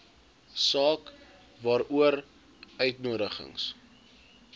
saak waaroor uitnodigings